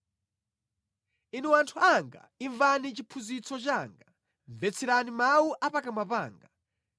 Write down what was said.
Inu anthu anga imvani chiphunzitso changa; mvetserani mawu a pakamwa panga.